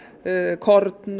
kornmeti og